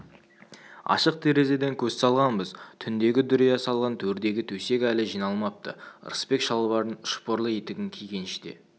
ашық терезеден көз салғанбыз түндегі дүрия салған төрдегі төсек әлі жиналмапты рысбек шалбарын шпорлы етігін киген іште